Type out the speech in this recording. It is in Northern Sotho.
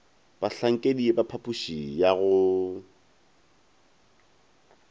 bahlankedi ba phapoši ya go